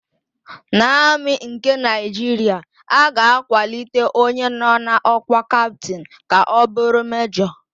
N'Amị nke Naịjiria, a ga-akwalite onye nọ n'ọ́kwá Kaptịn ka ọ bụrụ Mejọ.